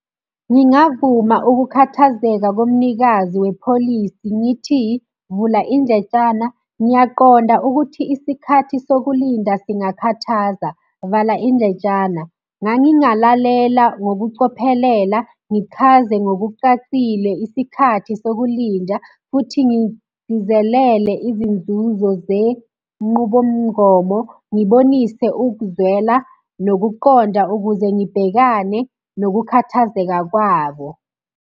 Ngingavuma ukukhathazeka komnikazi wepholisi ngithi, vula indlentshana, ngiyaqonda ukuthi isikhathi sokulinda singakhathaza, vala indletshana. Ngangingalalela ngokucophelela, ngichaze ngokucacile isikhathi sokulinda, futhi ngigcizelele izinzuzo zenqubomngomo. Ngibonise ukuzwela nokuqonda ukuze ngibhekane nokukhathazeka kwabo.